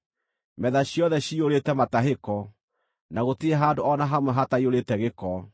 Metha ciothe ciyũrĩte matahĩko, na gũtirĩ handũ o na hamwe hataiyũrĩte gĩko.